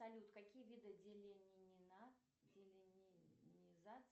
салют какие виды